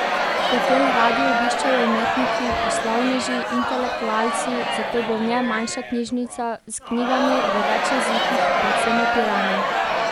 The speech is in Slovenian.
Hotel radi obiščejo umetniki, poslovneži, intelektualci, zato bo v njem manjša knjižnica s knjigami v več jezikih predvsem o Piranu.